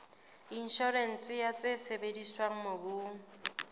inshorense ya tse sebediswang mobung